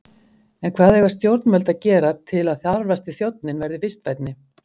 En hvað eiga stjórnvöld að gera til að þarfasti þjónninn verði vistvænni?